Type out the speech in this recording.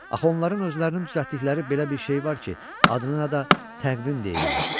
Axı onların özlərinin düzəltdikləri belə bir şey var ki, adına da təqvim deyirlər.